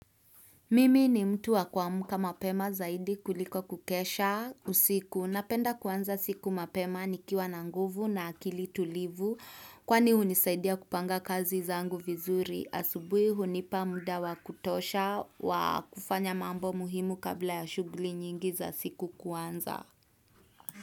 Mimi ni mtu wa kumka mapema zaidi kuliko kukesha usiku. Napenda kuanza siku mapema nikiwa na nguvu na akili tulivu. Kwani hunisaidia kupanga kazi zangu vizuri. Asubuhi hunipa muda wa kutosha wa kufanya mambo muhimu kabla ya shughuli nyingi za siku kuanza.